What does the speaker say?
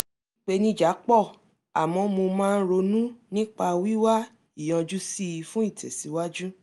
ìpèníjà pọ̀ àmọ́ mo máa ń ronú nípa wíwá ìyanjú sí i fún ìtẹ̀síwájú